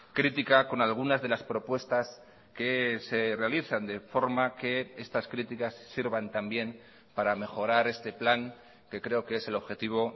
crítica con algunas de las propuestas que se realizan de forma que estas críticas sirvan también para mejorar este plan que creo que es el objetivo